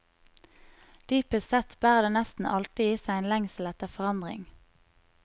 Dypest sett bærer det nesten alltid i seg en lengsel etter forandring.